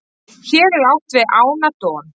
hér er átt við ána don